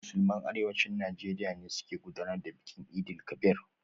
Musulman Arewacin Najeriya ne suka gudanar da bikin Eid-el-Kabir.